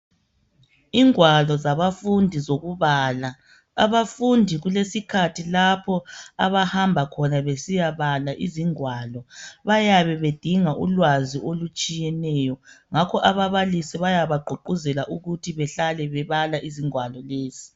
Ingwalo zabafundi zokubala, abafundi kulesikhathi lapho abahamba khona besiyabala izingwalo bayabe bedinga ulwazi olutshiyeneyo, ngakho ababalisi bayabagqugquzela ukuthi behlale bebala ingwalo lezi.